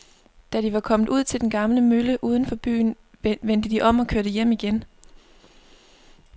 Da de var kommet ud til den gamle mølle uden for byen, vendte de om og kørte hjem igen.